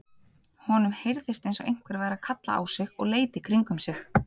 Honum heyrðist eins og einhver væri að kalla á sig og leit í kringum sig.